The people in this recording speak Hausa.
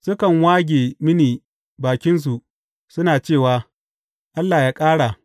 Sukan wage mini bakinsu suna cewa, Allah yă ƙara!